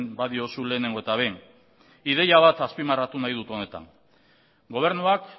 badiozu lehenengo eta behin ideia bat azpimarratu nahi dut honetan gobernuak